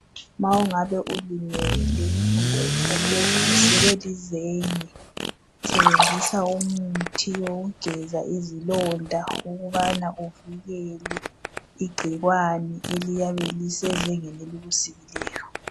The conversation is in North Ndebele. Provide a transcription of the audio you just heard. Ma ungabe ulimele kumbe uhlatswe usikwe lizenge, sebenzisa umuthi wokugeza izilonda ukubana uvikele igcikwane eliyabe lisezengeni elikusikileyo.